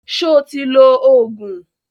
Sọ ti lo Ògùn?